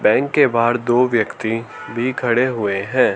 Bank के बाहर दो व्यक्ति भी खड़े हुए हैं।